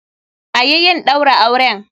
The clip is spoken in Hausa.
Ayi yin Ɗaura auren!